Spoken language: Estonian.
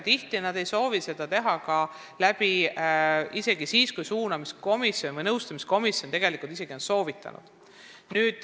Tihti ei soovi nad seda teha isegi siis, kui suunamiskomisjon või nõustamiskomisjon on nii soovitanud.